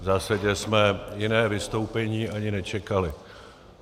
V zásadě jsme jiné vystoupení ani nečekali.